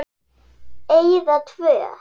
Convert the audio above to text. Eyða tvö.